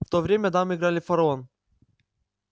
в то время дамы играли в фараон